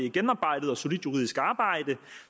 et gennemarbejdet og solidt juridisk arbejde